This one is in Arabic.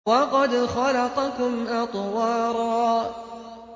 وَقَدْ خَلَقَكُمْ أَطْوَارًا